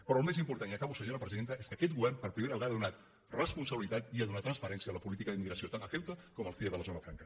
però el més important i acabo senyora presidenta és que aquest govern per primera vegada ha donat responsabilitat i ha donat transparència a la políti·ca d’immigració tant a ceuta com al cie de la zona franca